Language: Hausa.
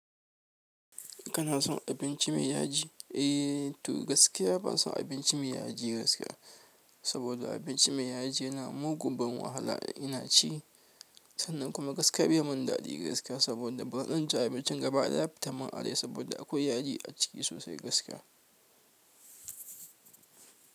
Kana son abinci mai yaji? Eh, to gaskiya ban son abinci mai yaji gaskiya. Saboda abinci mai yaji yana mugu ban wahala ina ci. Sannan kuma gaskiya bai mun daɗi gaskiya saboda ban ranci abincin gaba ɗaya ba yafi tammin arai saboda akwai yaji a ciki sosai gaskiya.